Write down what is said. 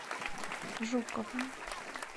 жуковым